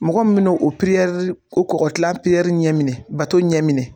Mɔgɔ min bi n'o o kɔgɔkilan ɲɛ minɛ bato ɲɛ minɛ.